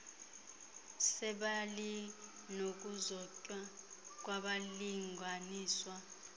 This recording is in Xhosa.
sebali nokuzotywa kwabalinganiswa